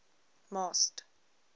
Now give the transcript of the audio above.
masked